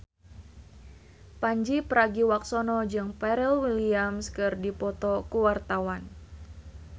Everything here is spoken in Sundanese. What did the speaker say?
Pandji Pragiwaksono jeung Pharrell Williams keur dipoto ku wartawan